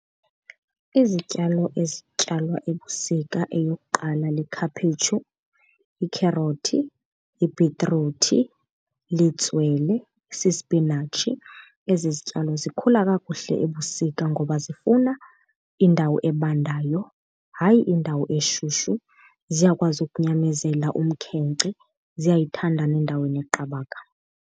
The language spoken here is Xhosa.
Izityalo ezityalwa ebusika eyokuqala likhaphetshu, ikherothi, ibhitruthi, litswele, sispinatshi. Ezi zityalo zikhula kakuhle ebusika ngoba zifuna indawo ebandayo, hayi indawo eshushu. Ziyakwazi ukunyamezela umkhenkce, ziyayithanda nendawo eneqabaka.